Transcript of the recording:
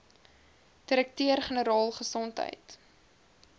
direkteur generaal gesondheid